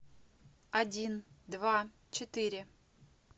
один два четыре